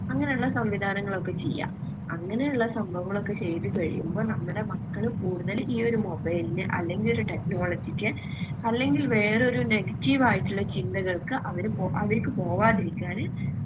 അങ്ങനെ ഇള്ള സംവിധാനങ്ങളൊക്കെ ചെയ്യാ അങ്ങനെ ഇള്ള സംഭവങ്ങളൊക്കെ ചെയ്ത കഴിയുമ്പോ നമ്മടെ മക്കള് കൂടുതല് ഈയൊരു mobile നെ അല്ലെങ്കില് technology ക്ക് അല്ലെങ്കിൽ വേറൊരു negative ആയിട്ടിള്ള ചിന്തകൾക്ക് അവര് പോ അവർക്ക് പോവാതിരിക്കാന്